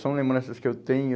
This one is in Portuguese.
São lembranças que eu tenho.